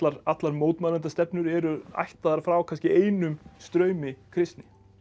allar eru ættaðar frá kannski einum straumi kristni